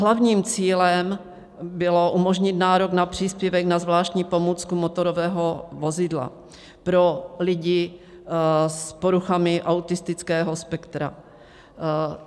Hlavním cílem bylo umožnit nárok na příspěvek na zvláštní pomůcku motorové vozidlo pro lidi s poruchami autistického spektra.